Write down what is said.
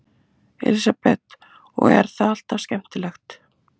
Elísabet: Og er þetta alltaf skemmtilegt?